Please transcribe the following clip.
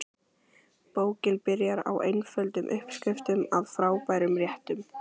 Bókin byrjar á einföldum uppskriftum að frábærum réttum.